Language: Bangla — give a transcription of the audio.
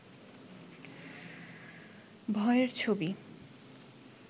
ভয়ের ছবি